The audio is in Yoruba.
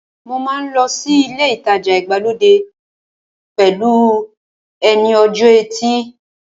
Mo máa lọ sí ilé ìtajà ìgbàlódé pẹ̀lú ẹ ní ọjọ́ ẹtì